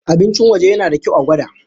Abincin waje yana da kyau a gwada.